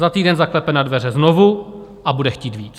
Za týden zaklepe na dveře znovu a bude chtít víc.